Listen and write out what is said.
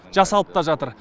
жасалып та жатыр